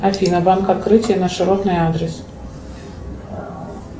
афина банк открытие на широтной адрес